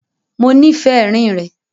Mọ nífẹ́ èrín rẹ̀.